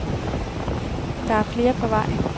Der er flere på vej.